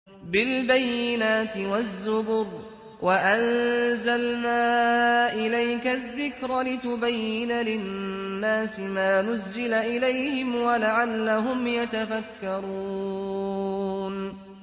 بِالْبَيِّنَاتِ وَالزُّبُرِ ۗ وَأَنزَلْنَا إِلَيْكَ الذِّكْرَ لِتُبَيِّنَ لِلنَّاسِ مَا نُزِّلَ إِلَيْهِمْ وَلَعَلَّهُمْ يَتَفَكَّرُونَ